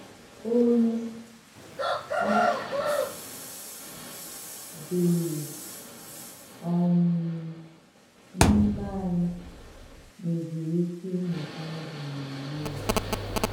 Ònyé ọ̀ bụ̀rù um n’ímè ànyị nwèzìrì ìké ìmụ̀ Baịbụ̀l n’ònwè́ ya.”